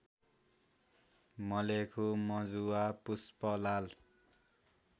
Malekhu Majuwa Pushpalal